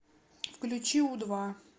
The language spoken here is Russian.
включи у два